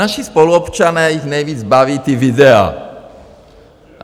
Naši spoluobčané, je nejvíce baví ta videa.